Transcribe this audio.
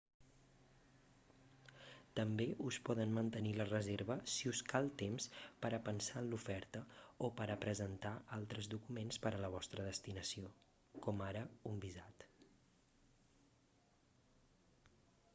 també us poden mantenir la reserva si us cal temps per a pensar en l'oferta o per a presentar altres documents per a la vostra destinació com ara un visat